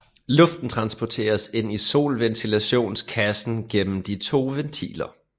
Luften transporteres ind i solventilationskassen gennem de to ventiler